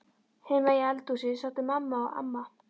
Heima í eldhúsi sátu mamma og amma.